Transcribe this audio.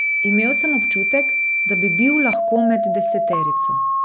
Imel sem občutek, da bi bil lahko med deseterico.